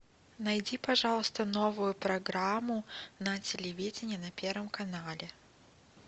найди пожалуйста новую программу на телевидении на первом канале